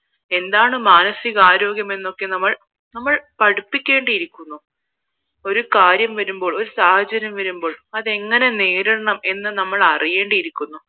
എന്താണ് മാനസികാരോഗ്യം എന്നൊക്കെ നമ്മൾ പഠിപ്പിക്കേണ്ടിയിരിക്കുന്നു ഒരു കാര്യം വരുമ്പോൾ ഒരു സാഹചര്യം വരുമ്പോൾ അത് എങ്ങനെ നേരിടണം എന്ന് നിങ്ങൾ അറിയേണ്ടി ഇരിക്കുന്നു